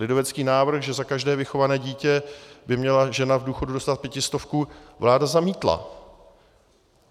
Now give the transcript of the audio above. Lidovecký návrh, že za každé vychované dítě by měla žena v důchodu dostat pětistovku, vláda zamítla.